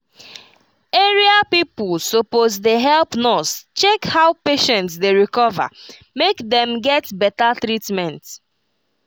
area people suppose dey help nurse check how patient dey recover make dem get better treatment. um